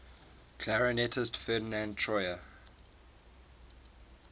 clarinetist ferdinand troyer